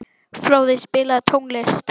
Fróði, spilaðu tónlist.